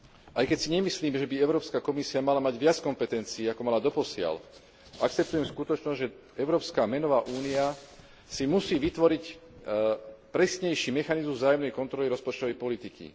Aj keď si nemyslím, že by Európska komisia mala mať viac kompetencií ako mala doposiaľ, akceptujem skutočnosť, že európska menová únia si musí vytvoriť presnejší mechanizmus vzájomnej kontroly rozpočtovej politiky.